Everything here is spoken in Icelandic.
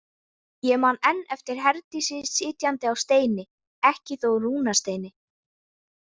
Ég man enn eftir Herdísi sitjandi á steini, ekki þó rúnasteini.